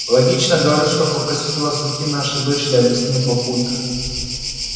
логично говорю что попросить у вас руки нашей дочери объяснил папулька